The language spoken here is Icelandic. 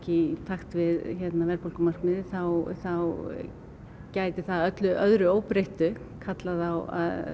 í takt við verðbólgumarkmiðið þá þá gæti það að öllu öðru óbreyttu kallað á